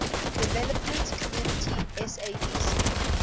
development community sadc